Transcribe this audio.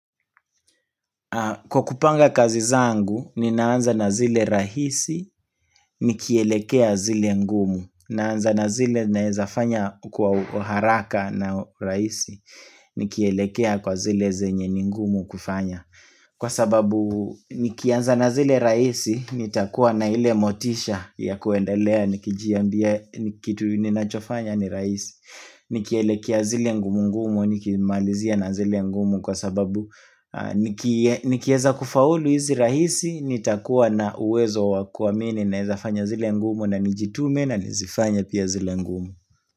Kwa kupanga kazi zangu ni naanza na zile rahisi ni kielekea zile ngumu Naanza na zile naweza fanya kwa haraka na rahisi ni kielekea kwa zile zenye ni ngumu kufanya Kwa sababu nikianza na zile rahisi nitakua na ile motisha ya kuendelea nikijiambia kitu ninachofanya ni rahisi Nikielekea zile ngumu ngumu, nikimalizia na zile ngumu kwa sababu Nikieza kufaulu hizi rahisi, nitakuwa na uwezo wakuamini naweza fanya zile ngumu na nijitume na nizifanye pia zile ngumu.